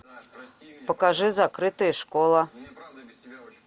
покажи закрытая школа